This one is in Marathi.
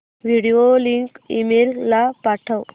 व्हिडिओ लिंक ईमेल ला पाठव